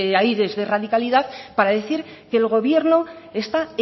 aires de radicalidad para decir que el gobierno está